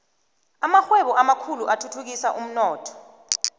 amarhwebo amakhulu othuthukisa umnotho